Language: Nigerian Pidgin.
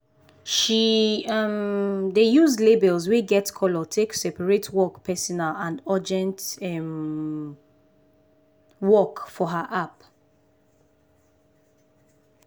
she um dey use labels wey get colors take separate work personal and urgent um work for her app.